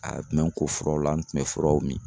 A tun bɛ n ko furaw la n tun bɛ furaw min.